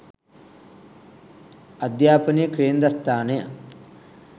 අධ්‍යාපනයේ කේන්ද්‍රස්ථානය